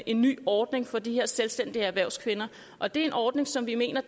en ny ordning for de her selvstændige erhvervskvinder og det er en ordning som vi mener